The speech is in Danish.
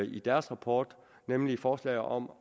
i deres rapport nemlig forslaget om